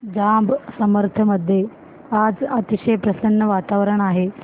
जांब समर्थ मध्ये आज अतिशय प्रसन्न वातावरण आहे